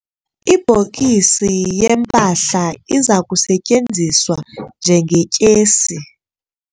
Ibhokisi yempahla iza kusetyenziswa njengetyesi.